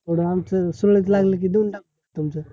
थोड आमच सोयरीक लागली कि देऊन टाकतो तुमच